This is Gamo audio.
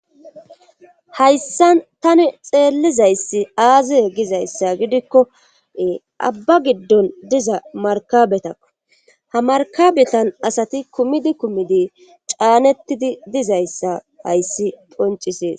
hayssan tani xeellizayssi aazi gizayssa gidikkoe abba giddon diza markabetakko ha markabetan asati kumidi kumidi caanettidi dizayssa hayssi poncisees